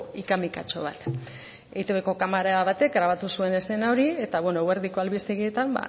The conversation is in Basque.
hikamikatxo bat etbko kamara batek grabatu zuen eszena hori eta bueno eguerdiko albistegietan